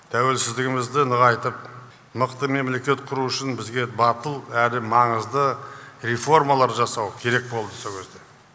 тәуелсіздігімізді нығайтып мықты мемлекет құру үшін бізге батыл әрі маңызды реформалар жасау керек болды сол кезде